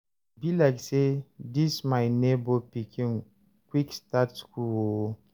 e be like say dis my nebor pikin quick start school o